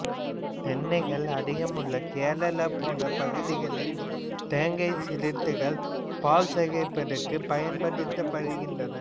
தென்னைகள் அதிகமுள்ள கேரளா போன்ற பகுதிகளில் தேங்காய்ச் சிரட்டைகள் பால் சேகரிப்புக்குப் பயன்படுத்தப்படுகின்றன